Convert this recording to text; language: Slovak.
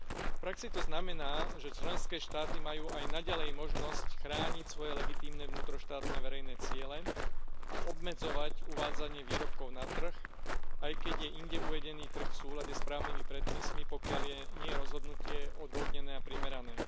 V praxi to znamená, že členské štáty majú aj naďalej možnosť chrániť svoje legitímne vnútroštátne verejné ciele a obmedzovať uvádzanie výrobkov na trh, aj keď je inde uvedený trh v súlade s právnymi predpismi, pokiaľ nie je rozhodnutie odôvodnené a primerané.